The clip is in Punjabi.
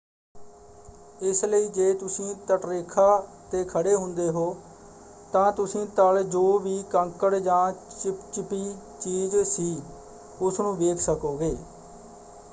ਇਸ ਲਈ ਜੇ ਤੁਸੀਂ ਤੱਟਰੇਖਾ ਤੇ ਖੜੇ ਹੁੰਦੇ ਹੋ ਤਾਂ ਤੁਸੀਂ ਤਲ ਜੋ ਵੀ ਕੰਕੜ ਜਾਂ ਚਿਪਚਿਪੀ ਚੀਜ਼ ਸੀ ਉਸ ਨੂੰ ਵੇਖ ਸਕੋਗੇ।